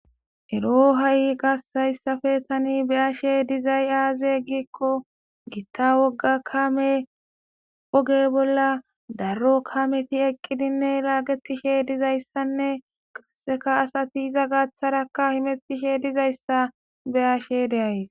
ero ha7i qassayssafe tani be ashe dizay aaze giikko gitta wogga kame oge bolla daro kameti eqqidinne laagetishe dizayssanne qasseka asati iza gaaththarakka himettishe dizayssa be ashe deays